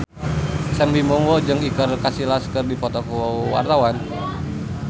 Sam Bimbo jeung Iker Casillas keur dipoto ku wartawan